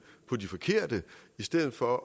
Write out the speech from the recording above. på de forkerte i stedet for